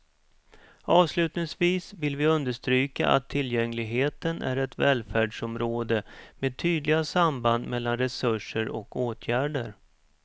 Avslutningsvis vill vi understryka att tillgängligheten är ett välfärdsområde med tydliga samband mellan resurser och åtgärder.